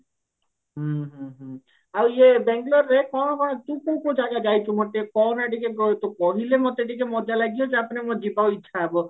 ଓ ଇଏ ବଙ୍ଗେଲୋର ରେ କଣ କଣ ମତେ କହନା ଟିକେ ତୁ କହିଲେ ମତେ ଟିକେ ମଜା ଲାଗିବ ତାପରେ ମୋର ଯିବାକୁ ଇଛା ହେବ